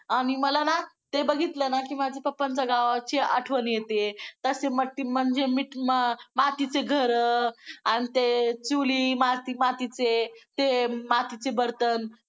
आणि मला ना ते बघितलं की माझ्या पप्पांच्या गावाची आठवण येते. तशी म्हणजे मातीची घरं आणि ते चुली मातीमातीचे ते बर्तन